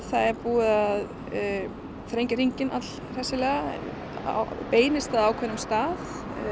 það er búið að þrengja hringinn all hressilega hann beinist að ákveðnum stað